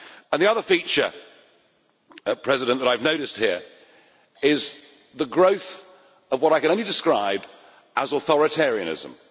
And the other feature I have noticed here is the growth of what I can only describe as authoritarianism.